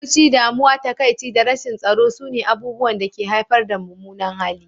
Fushi, damuwa, takaici da rashin tsaro sune abubuwan da ke haifar da mummunan hali.